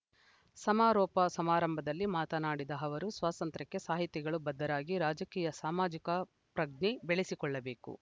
ಸಮಾರೋಪ ಸಮಾರಂಭದಲ್ಲಿ ಮಾತನಾಡಿದ ಅವರು ಸ್ವಾಸಂತ್ರ್ಯಕ್ಕೆ ಸಾಹಿತಿಗಳು ಬದ್ಧರಾಗಿ ರಾಜಕೀಯ ಸಾಮಾಜಿಕ ಪ್ರಜ್ಞೆ ಬೆಳೆಸಿಕೊಳ್ಳಬೇಕು